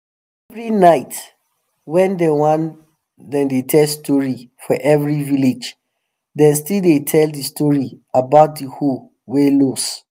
every night wen dem wen dem dey tell story for every village dem still de tell de story about de hoe wey lose